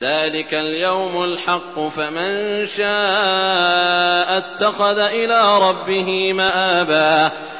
ذَٰلِكَ الْيَوْمُ الْحَقُّ ۖ فَمَن شَاءَ اتَّخَذَ إِلَىٰ رَبِّهِ مَآبًا